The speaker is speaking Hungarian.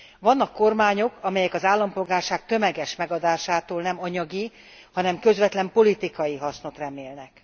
Vannak kormányok, amelyek az állampolgárság tömeges megadásától nem anyagi, hanem közvetlen politikai hasznot remélnek.